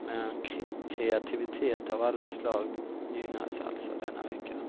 men kreativitet av alla slag gynnas alltså denna vecka.